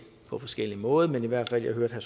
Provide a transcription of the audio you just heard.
på forskellig måde men i hvert fald hørte jeg